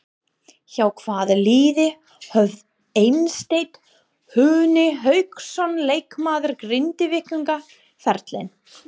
Hjá hvaða liði hóf Eysteinn Húni Hauksson leikmaður Grindvíkinga ferilinn?